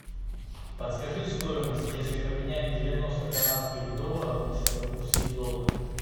подскажи стоимость если поменять девяносто канадских долларов на сингапурские доллары